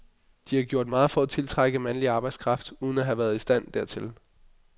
De har gjort meget for at tiltrække mandlig arbejdskraft uden at have været i stand hertil.